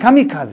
Kamikaze.